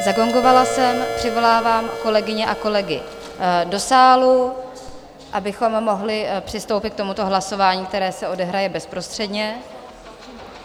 Zagongovala jsem, přivolávám kolegyně a kolegy do sálu, abychom mohli přistoupit k tomuto hlasování, které se odehraje bezprostředně.